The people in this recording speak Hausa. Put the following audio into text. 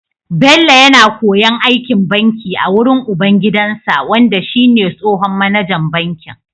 Bello yAna koyon aikin banki a wurin ubangidansa wanda shi ne tsohon mAnajan bankin